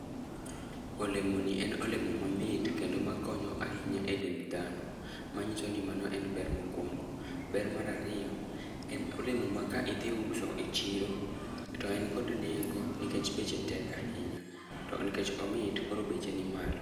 Olemoni en olemo mamit kendo makonyo ahinya e dend dhano, manyiso ni mano en ber mokwongo. Ber mar ariyo, en olemo ma ka idhi uso e chiro, to en kod nengo nikech beche tek ahinya, to nikech omit, koro beche nimalo.